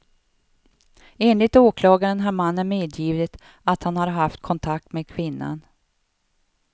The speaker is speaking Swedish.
Enligt åklagaren har mannen medgivit att han har haft kontakt med kvinnan.